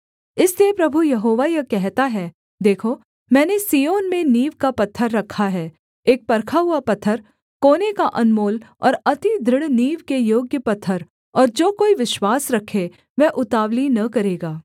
इसलिए प्रभु यहोवा यह कहता है देखो मैंने सिय्योन में नींव का पत्थर रखा है एक परखा हुआ पत्थर कोने का अनमोल और अति दृढ़ नींव के योग्य पत्थर और जो कोई विश्वास रखे वह उतावली न करेगा